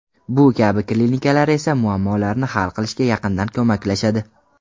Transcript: Bu kabi klinikalar esa muammolarni hal qilishga yaqindan ko‘maklashadi.